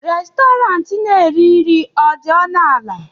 Restọrantị na-ere nri dị ọnụ ala?